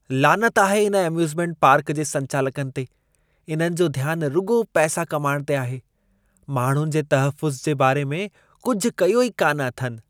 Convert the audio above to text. लानत आहे इन एम्यूज़मेंट पार्क जे संचालकनि ते! इन्हनि जो ध्यान रुॻो पैसो कमाइणु ते आहे। माण्हुनि जे तहफ़्फ़ुज़ जे बारे में कुझु कयो ई कान अथनि।